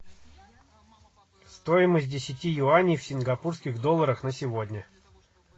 стоимость десяти юаней в сингапурских долларах на сегодня